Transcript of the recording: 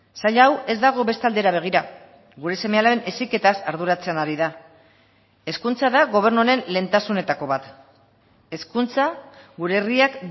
sail hau ez dago beste aldera begira gure seme alaben heziketaz arduratzen ari da hezkuntza da gobernu honen lehentasunetako bat hezkuntza gure herriak